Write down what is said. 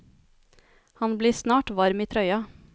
Han blir snart varm i trøya.